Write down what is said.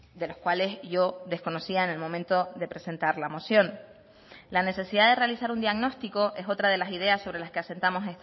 de los cuales yo desconocía en el momento de presentar la moción la necesidad de realizar un diagnóstico es otra de las ideas sobre las que asentamos